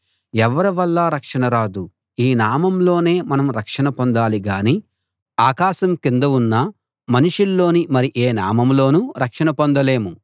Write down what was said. ఎవ్వరివల్లా రక్షణ రాదు ఈ నామంలోనే మనం రక్షణ పొందాలి గాని ఆకాశం కింద ఉన్న మనుషుల్లోని మరి ఏ నామంలోనూ రక్షణ పొందలేము